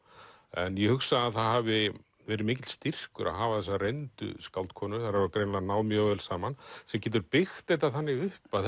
en ég hugsa að það hafi verið mikill styrkur að hafa þessa reyndu skáldkonu þær hafa greinilega náð mjög vel saman sem getur byggt þetta þannig upp að